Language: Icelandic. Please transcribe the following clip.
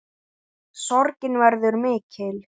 Sorgin verður mikil.